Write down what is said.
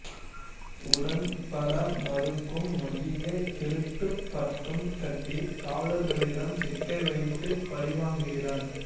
உடன்பட மறுக்கும் மதியை திருட்டுப் பட்டம் கட்டி காவலர்களிடம் சிக்க வைத்து பழிவாங்குகிறார்